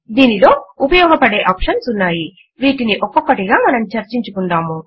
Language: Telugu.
దీనిలో ఉపయోగపడే ఆప్షన్స్ ఉన్నాయి వీటిని ఒక్కొక్కటిగా మనం చర్చించుకుందాము